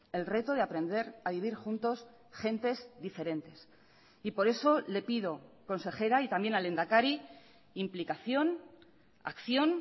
el reto de aprender a vivir juntos gentes diferentes y por eso le pido consejera y también al lehendakari implicación acción